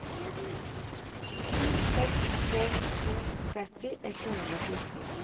sju seks tre to tretti ett hundre og fjorten